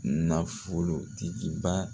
Nafolo tigiba